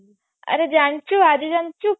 ଆରେ ଜାଣିଛୁ ଆଜି ଜାଣିଛୁ